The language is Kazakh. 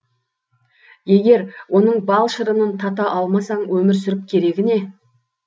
егер оның бал шырынын тата алмасаң өмір сүріп керегі не